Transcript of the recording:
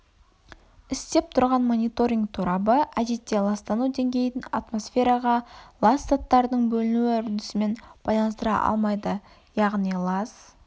істеп тұрған мониторинг торабы әдетте ластану деңгейін атмосфераға лас заттардың бөлінуі үрдісімен байланыстыра алмайды яғни лас